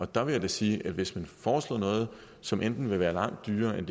der vil jeg da sige at hvis man foreslår noget som enten vil være langt dyrere end